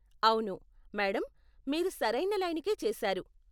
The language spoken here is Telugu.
అవును, మేడం. మీరు సరైన లైనుకే చేశారు.